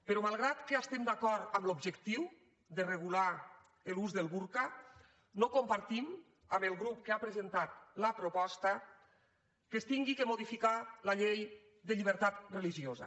però malgrat que estem d’acord amb l’objectiu de regular l’ús del burca no compartim amb el grup que ha presentat la proposta que s’hagi de modificar la llei de llibertat religiosa